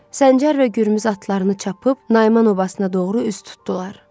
Səncər və Gürmüz atlarını çapıb Nayman obasına doğru üz tutdular.